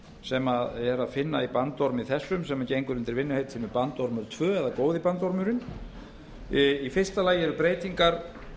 sem er að finna í bandormi þessum sem gengur undir vinnuheitinu bandormur tvö eða góði bandormurinn í fyrsta lagi eru breytingar